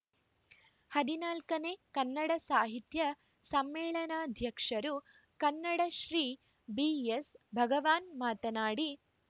ಹದಿನಾಲ್ಕನೇ ಕನ್ನಡ ಸಾಹಿತ್ಯ ಸಮ್ಮೇಳಾನಾಧ್ಯಕ್ಷರು ಕನ್ನಡಶ್ರೀ ಬಿಎಸ್‌ಭಗವಾನ್‌ ಮಾತನಾಡಿ